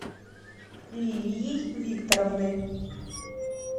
лилией викторовной